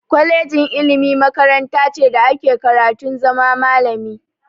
Kolejin ilimi makaranta ce da ake karatun zama malami.